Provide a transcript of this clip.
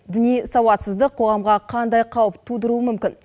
діни сауатсыздық қоғамға қандай қауіп тудыруы мүмкін